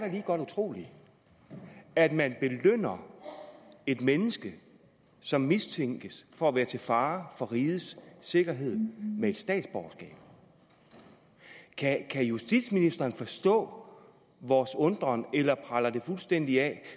utroligt at man belønner et menneske som mistænkes for at være til fare for rigets sikkerhed med et statsborgerskab kan justitsministeren forstå vores undren eller preller det fuldstændig af